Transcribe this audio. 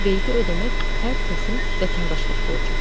Vergi ödəmək hər kəsin vətəndaşlıq borcudur.